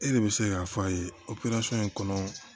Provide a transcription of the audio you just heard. E de bɛ se k'a f'a ye in kɔnɔ